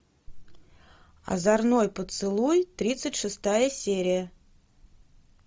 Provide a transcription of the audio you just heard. озорной поцелуй тридцать шестая серия